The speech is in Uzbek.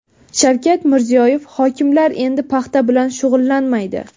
Shavkat Mirziyoyev: Hokimlar endi paxta bilan shug‘ullanmaydi.